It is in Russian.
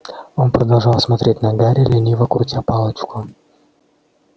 он продолжал смотреть на гарри лениво крутя палочку